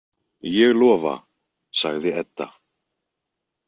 Ég lofa, sagði Edda.